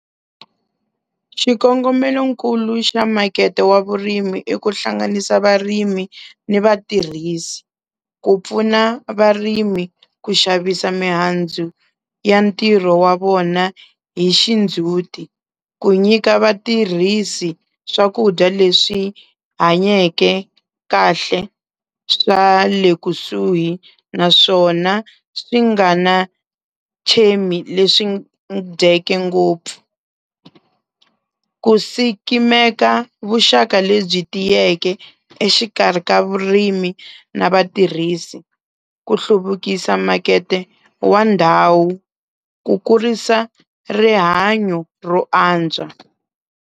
Xikongomelonkulu xa makete wa vurimi i ku hlanganisa varimi ni vatirhisi ku pfuna varimi ku xavisa mihandzu ya ntirho wa vona hi xindhzuti, ku nyika vatirhisi swakudya leswi hanyeke kahle swa le kusuhi naswona swi nga na leswi dyeke ngopfu, ku sikimeka vuxaka lebyi tiyeke exikarhi ka vurimi na vatirhisi, ku hluvukisa makete wa ndhawu, ku kurisa rihanyo ro antswa.